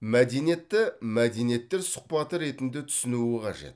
мәдениетті мәдениеттер сұхбаты ретінде түсінуі қажет